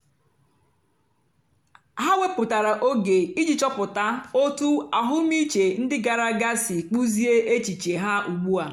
ha wèpụ̀tàra ógè ijì chọ̀pụ̀tà otú àhụ́mị̀chè ndí gààrà àga sì kpụ́ziè èchìchè ha ùgbùà.